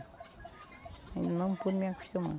Ainda não pude me acostumar.